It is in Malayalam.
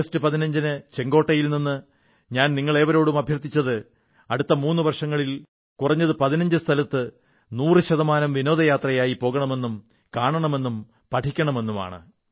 ആഗസ്റ്റ് 15 ന് ചുവപ്പു കോട്ടയിൽ നിന്ന് ഞാൻ നിങ്ങളേവരോടും അഭ്യർഥിച്ചത് അടുത്ത മൂന്നു വർഷങ്ങളിൽ കുറഞ്ഞത് 15 സ്ഥലത്ത് 100 ശതമാനം വിനോദയാത്രയായി പോകണമെന്നും കാണണമെന്നും പഠിക്കണമെന്നുമാണ്